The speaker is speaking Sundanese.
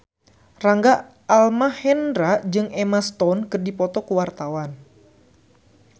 Rangga Almahendra jeung Emma Stone keur dipoto ku wartawan